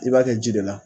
I b'a kɛ ji de la